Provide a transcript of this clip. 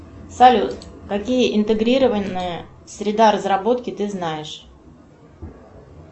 салют какие интегрированные среда разработки ты знаешь